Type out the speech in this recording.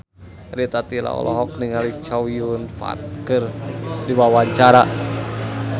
Rita Tila olohok ningali Chow Yun Fat keur diwawancara